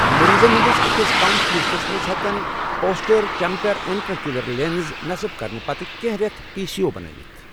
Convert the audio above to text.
مٔریٖضن ہندِس أکِس کم فیٖصدس منٛز، ہیٚکن پوسٹییر چیمبرٕ اِنٹراکیوُلر لینس نصب كرنہٕ پتہٕ كینہہ ریتھ پی سی او بَنٲوِتھ ۔